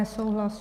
Nesouhlas.